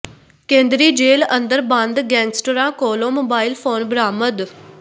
ਕੇਂਦਰੀ ਜੇਲ੍ਹ ਅੰਦਰ ਬੰਦ ਗੈਂਗਸਟਰਾਂ ਕੋਲੋਂ ਮੋਬਾਈਲ ਫ਼ੋਨ ਬਰਾਮਦ